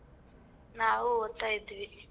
ನಾವು ಓದ್ತಾ ಇದ್ವಿ.